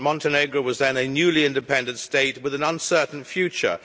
Montenegro was then a newly independent state with an uncertain future.